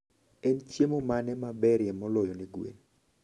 En chiemo mane maberie moloyo ne gwen?